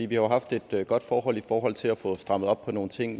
jo haft et godt forhold i forhold til at få strammet op på nogle ting